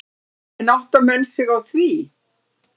En átta menn sig á því?